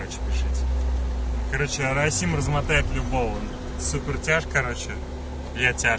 короче пришельцы короче арасим размотает любого супертяж короче я тяж